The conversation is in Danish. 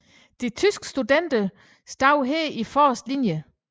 De tyske studenter stod her i forreste linje